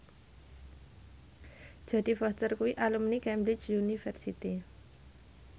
Jodie Foster kuwi alumni Cambridge University